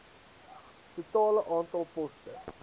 totale aantal poste